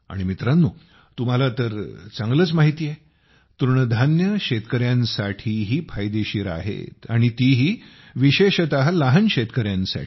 आणि मित्रांनो तुम्हाला तरचांगलंच माहिती आहे तृणधान्ये शेतकऱ्यांसाठीही फायदेशीर आहेत आणि तीही विशेषतः लहान शेतकऱ्यांसाठी